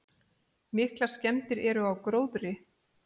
Miklar skemmdir eru á gróðri.